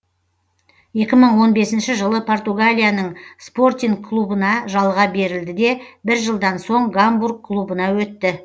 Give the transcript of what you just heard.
екі мың он бесінші жылы португалияның спортинг клубына жалға берілді де бір жылдан соң гамбург клубына өтті